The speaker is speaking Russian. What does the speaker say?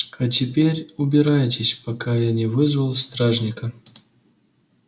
а теперь убирайтесь пока я не вызвал стражника